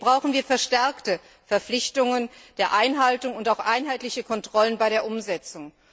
Hier brauchen wir verstärkte Verpflichtungen der Einhaltung und auch einheitliche Kontrollen bei der Umsetzung.